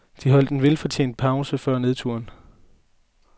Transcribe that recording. De holdt en velfortjent pause før nedturen.